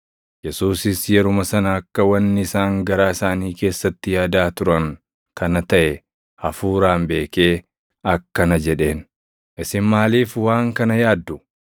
Yesuusis yeruma sana akka wanni isaan garaa isaanii keessatti yaadaa turan kana taʼe hafuuraan beekee akkana jedheen; “Isin maaliif waan kana yaaddu?